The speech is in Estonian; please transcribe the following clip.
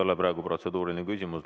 See ei ole protseduuriline küsimus.